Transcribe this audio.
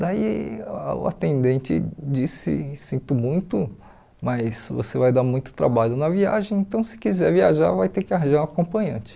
Daí o atendente disse, sinto muito, mas você vai dar muito trabalho na viagem, então se quiser viajar vai ter que arranjar um acompanhante.